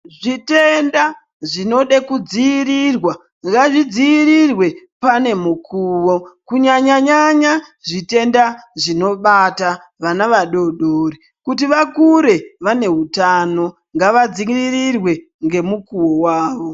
Zvitenda zvinode kudziirirwa ngazvidziirirwe pane mukuwo kunyanyanyanya zvitenda zvinobata vana vadodori kuti vakure vane hutano ngavadziirirwe ngemukuwo wawo.